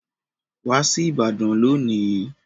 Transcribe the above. Wá sí ìbàdàn lónìí.